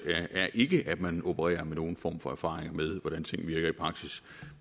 er ikke at man opererer med nogen form for erfaring med hvordan ting virker i praksis